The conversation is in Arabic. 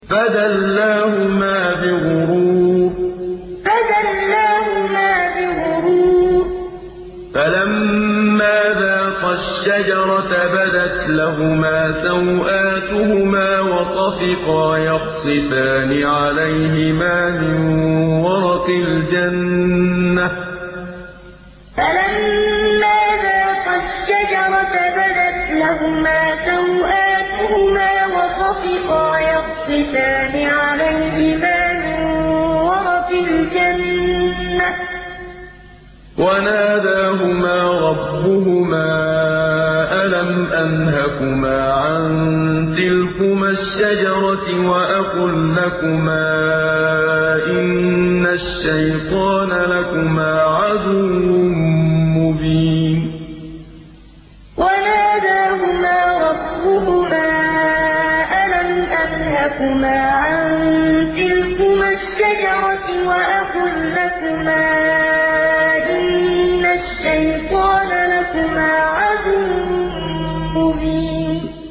فَدَلَّاهُمَا بِغُرُورٍ ۚ فَلَمَّا ذَاقَا الشَّجَرَةَ بَدَتْ لَهُمَا سَوْآتُهُمَا وَطَفِقَا يَخْصِفَانِ عَلَيْهِمَا مِن وَرَقِ الْجَنَّةِ ۖ وَنَادَاهُمَا رَبُّهُمَا أَلَمْ أَنْهَكُمَا عَن تِلْكُمَا الشَّجَرَةِ وَأَقُل لَّكُمَا إِنَّ الشَّيْطَانَ لَكُمَا عَدُوٌّ مُّبِينٌ فَدَلَّاهُمَا بِغُرُورٍ ۚ فَلَمَّا ذَاقَا الشَّجَرَةَ بَدَتْ لَهُمَا سَوْآتُهُمَا وَطَفِقَا يَخْصِفَانِ عَلَيْهِمَا مِن وَرَقِ الْجَنَّةِ ۖ وَنَادَاهُمَا رَبُّهُمَا أَلَمْ أَنْهَكُمَا عَن تِلْكُمَا الشَّجَرَةِ وَأَقُل لَّكُمَا إِنَّ الشَّيْطَانَ لَكُمَا عَدُوٌّ مُّبِينٌ